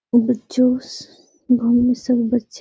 ओ में जूस बाहर में सब बच्चे --